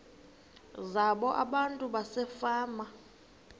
zabo abantu basefama